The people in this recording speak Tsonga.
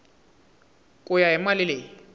ku ya hi mali leyi